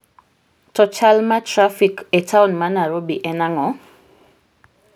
To chal ma trafik e taon ma Nairobi en ang'o?